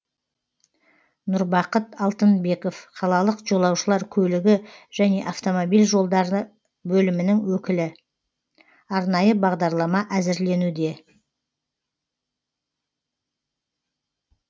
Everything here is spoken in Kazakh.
нұрбақыт алтынбеков қалалық жолаушылар көлігі және автомобиль жолдары бөлімінің өкілі арнайы бағдарлама әзірленуде